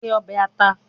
Se obe ata